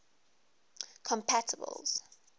compatibles